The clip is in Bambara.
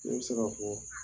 Ne be se ka fɔɔ